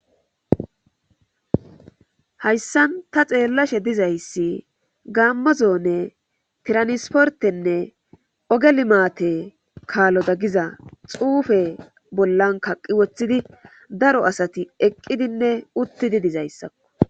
Hayssan ta xeellashe dizayssi gaammo zoone transportenne oge limaatee kalora diza xuufee bollan kaqetti woththidi daro asati eqidinne uththidi dizayssa.